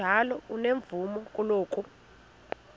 njalo unomvume kuloko